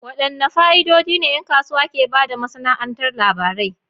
Wadanne fa'idodi ne 'yan kasuwa ke ba da masana'antar labarai?